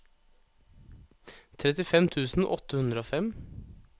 trettifem tusen åtte hundre og fem